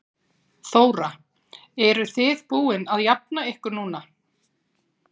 Þóra: Eruð þið búin að jafna ykkur núna?